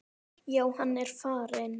Já, hann er farinn